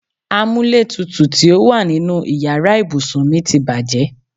Amúlétutù tí ó wà nínú ìyára ibùsùn mi ti bàjẹ́.